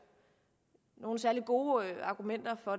nogen særlig gode argumenter for